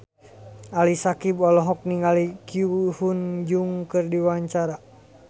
Ali Syakieb olohok ningali Ko Hyun Jung keur diwawancara